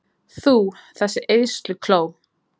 Þú, þessi eyðslukló!